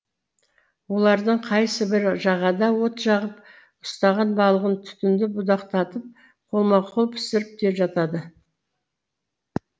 олардың қайсыбірі жағада от жағып ұстаған балығын түтінді будақтатып қолма қол пісіріп те жатады